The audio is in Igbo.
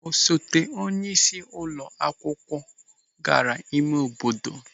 Osote onyeisi ụlọ akwụkwọ gara ịme obodo.